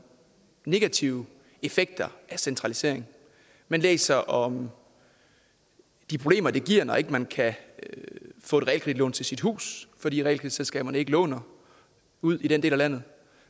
negative effekter af centraliseringen man læser om de problemer det giver når man ikke kan få et realkreditlån til sit hus fordi realkreditselskaberne ikke låner ud i den del af landet